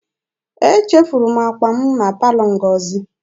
Echefuru m akpa m na palọ Ngozi.